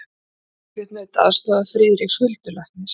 Margrét naut aðstoðar Friðriks huldulæknis.